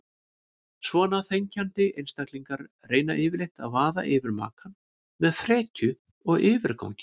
Svona þenkjandi einstaklingar reyna yfirleitt að vaða yfir makann með frekju og yfirgangi.